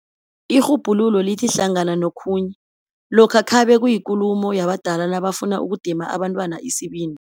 Irhubhululo lithi hlangana nokhunye, lokho khabe kuyinkulumo yabadala nabafuna ukudima abantwana isibindi.